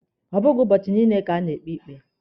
Ọ bụghị ụbọchị niile ka a na-ekpe ikpe.